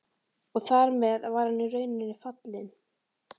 Og þar með var hann í rauninni fallinn.